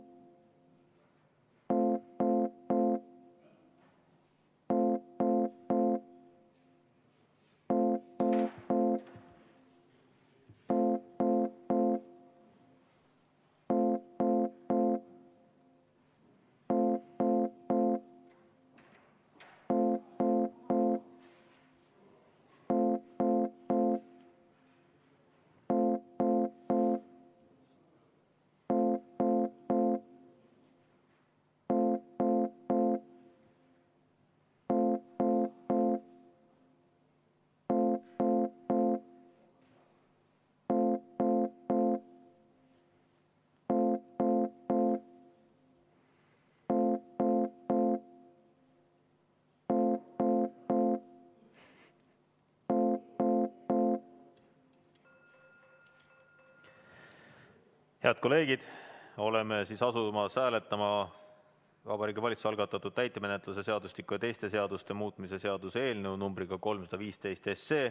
Head kolleegid, oleme asumas hääletama Vabariigi Valitsuse algatatud täitemenetluse seadustiku ja teiste seaduste muutmise seaduse eelnõu 315.